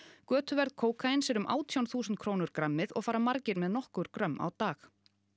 götuverð kókaíns er um átján þúsund krónur grammið og fara margir með nokkur grömm á dag